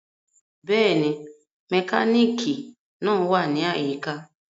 Bẹ́ẹ̀ni, mekaniki naa wa ni ayika.